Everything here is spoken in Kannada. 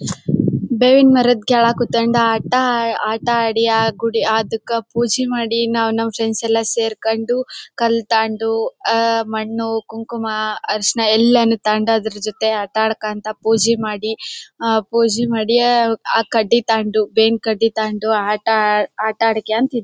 ಬೇವಿನ ಮರದ ಕೆಳಗೆ ಕುಂತ್ಕೊಂಡು ಆಟ ಆಟ ಆಡಿ ಆ ಗುಡಿ ಅದುಕ್ಕಾ ಪೂಜೆ ಮಾಡಿ ನಾವು ನಮ್ ಫ್ರೆಂಡ್ಸ್ ಎಲ್ಲ ಸೇರ್ಕೊಂಸು ಕಾಲ್ತಗೊಂಡುಆಹ್ಹ್ ಮಣ್ಣು ಕುಂಕುಮ ಅರಿಶಿಣ ಎಲ್ಲಾನು ತಗೊಂಡು ಅದರ ಜೊತೆ ಆಟ ಆಡ್ಕೊಂತ ಪೂಜೆ ಮಾಡಿ ಆ ಪೂಜೆ ಮಾಡಿ ಆಹ್ಹ್ ಕಡ್ಡಿ ತಗೊಂಡು ಬೇವಿನ ಕಡ್ಡಿ ತಗೊಂಡು ಆಟ ಆಟ ಆಡ್ಕೊಂಡು--